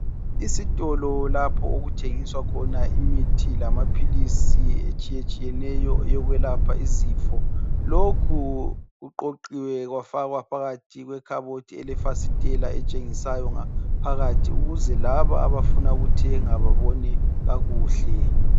Isitolo lapho okuthengiswa khona imithi lamaphilizi etshiyetshiyeneyo yokwelapha izifo lokhu kuqoqiwe kwafaka phakathi kwekhabothi elefasitela etshengisayo ngaphakathi ukuze laba abafuna ukuthenga babone kakuhle.